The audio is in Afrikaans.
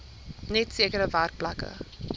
net sekere werkplekke